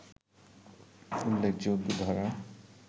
উল্লেখযোগ্য ধারা